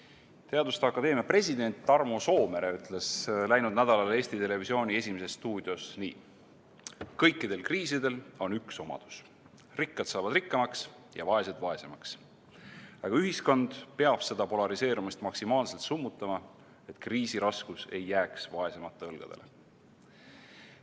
Eesti Teaduste Akadeemia president Tarmo Soomere ütles läinud nädalal Eesti Televisiooni "Esimeses stuudios" nii: "Kõikidel kriisidel on üks omadus – rikkad saavad rikkamaks ja vaesed vaesemaks, aga ühiskond peab seda polariseerumist maksimaalselt summutama, et kriisi raskus ei jääks vaesemate õlgadele.